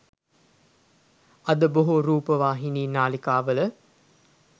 අද බොහෝ රූපවාහිනී නාලිකාවල